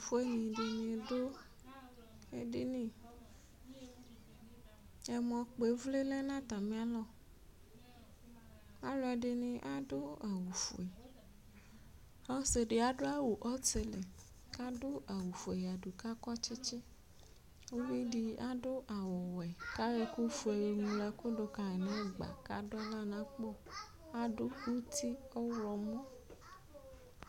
Ɛtufue dini adu edini ɔmɔ kpɔ ivli lɛ nu atamialɔ aluɛdini adu awu fue ɔsidi adu awu fue ku akɔ tsitsi aluɛdini adu awu ɔwɛ ku ayɔ ɛku ofue ŋlo tuka nu ɛgba ku adu aɣla nu akpo nu uti ku ɔvlɔ mua